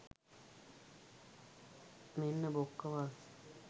මෙන්න බොක්කවල්